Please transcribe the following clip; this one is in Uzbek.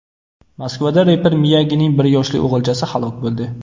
Moskvada reper Miyagining bir yoshli o‘g‘ilchasi halok bo‘ldi.